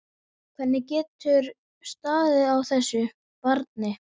Hvernig getur staðið á þessu. barni?